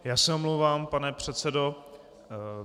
Já se omlouvám, pane předsedo.